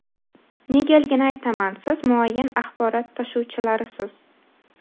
Negaligini aytaman: siz muayyan axborot tashuvchilarisiz.